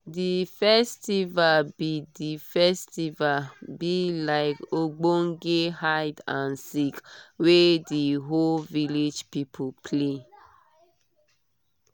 the festival be the festival be like ogbonge hide and seek wey di whole village people play